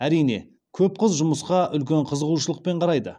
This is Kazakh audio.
әрине көп қыз жұмысқа үлкен қызығушылықпен қарайды